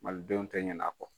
Malidenw tɛ ɲɛna a kɔ.